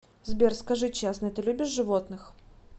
сбер скажи честно ты любишь животных